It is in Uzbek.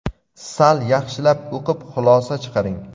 Sal yaxshilab o‘qib xulosa chiqaring.